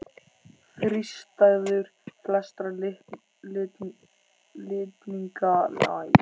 Þrístæður flestra litninga nema kynlitninga eru líka banvænar.